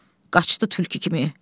Qaçdı tülkü kimi.